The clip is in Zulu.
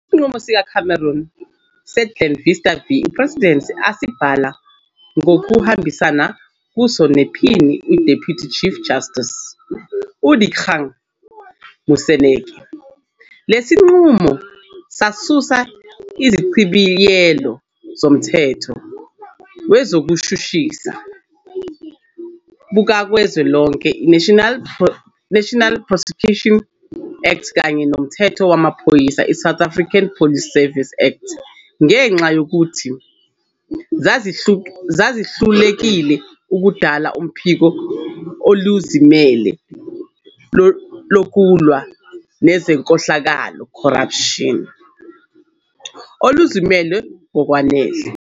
Isinqumo sikaCameron "seGlenister v President", asibhala ngokubambisana kuso nePhini u-Deputy Chief Justice, uDikgang Moseneke, lesi sinqumo sasusa izichibiyelo zomthetho wezobushushisi bukazwelonke i-National Prosecuting Act kanye nomthetho wezamaphoyisa i-South African Police Service Act ngenxa yokuthi zazihlulekile ukudala uphiko oluzimele lokulwa nenkohlakalo, corruption, "oluzimele ngokwanele".